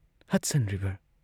Hudson river!